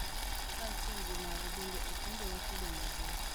Kaachiel gi mago, bende opuonjowa kido mabeyo .